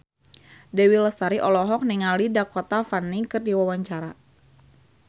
Dewi Lestari olohok ningali Dakota Fanning keur diwawancara